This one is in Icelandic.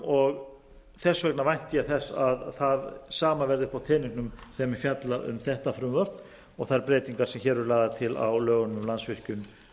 og þess vegna vænti ég þess að það sama verði uppi á teningnum þegar menn fjalla um þetta frumvarp og þær breytingar sem lagðar eru til á lögunum um landsvirkjun